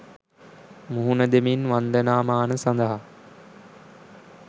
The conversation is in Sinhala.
මුහුණ දෙමින් වන්දනාමාන සඳහා